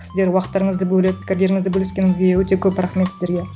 сіздер уақыттарыңызды бөліп пікірлеріңізді бөліскеніңізге өте көп рахмет сіздерге